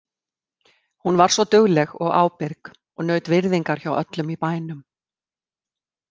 Hún var svo dugleg og ábyrg og naut virðingar hjá öllum í bænum.